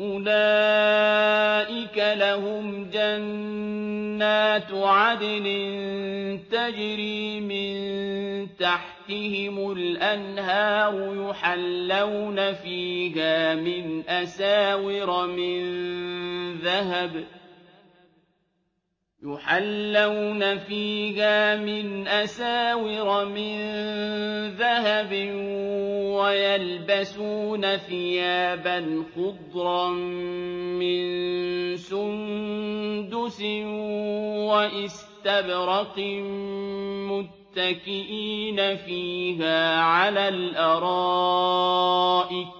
أُولَٰئِكَ لَهُمْ جَنَّاتُ عَدْنٍ تَجْرِي مِن تَحْتِهِمُ الْأَنْهَارُ يُحَلَّوْنَ فِيهَا مِنْ أَسَاوِرَ مِن ذَهَبٍ وَيَلْبَسُونَ ثِيَابًا خُضْرًا مِّن سُندُسٍ وَإِسْتَبْرَقٍ مُّتَّكِئِينَ فِيهَا عَلَى الْأَرَائِكِ ۚ